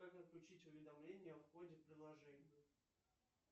как отключить уведомления о входе в приложение